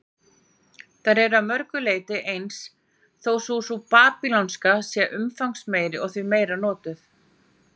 Þær eru að mörgu leyti eins, þó sú babýlonska sé umfangsmeiri og því meira notuð.